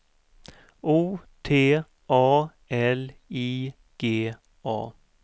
O T A L I G A